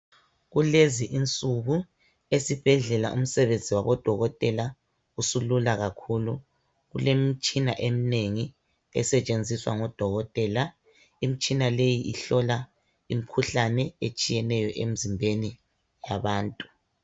Kulezinsuku esibhedlela umsebenzi wabodokotela usulula kakhulu kulemitshina eminengi esetshenziswa ngodokotela imitshina leyi ihlola imikhuhlane etshiyeneyo emzimbeni yabantu